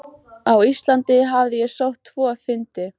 Á Íslandi hafði ég sótt tvo fundi.